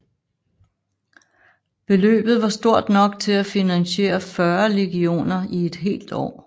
Beløbet var stort nok til at finansiere fyrre legioner i et helt år